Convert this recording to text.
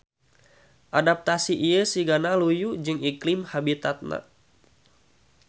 Adaptasi ieu sigana luyu jeung iklim habitatna.